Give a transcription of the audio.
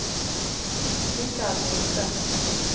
Mikael Riise